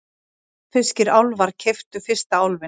Hafnfirskir álfar keyptu fyrsta Álfinn